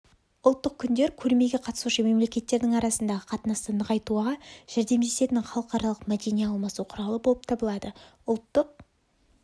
ұлттық күндер көрмеге қатысушы мемлекеттердің арасындағы қатынасты нығайтуға жәрдемдесетін халықаралық мәдени алмасу құралы болып табылады ұлттық